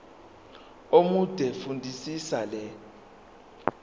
omude fundisisa le